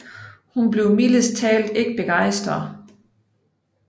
Hun bliver mildest talt ikke begejstret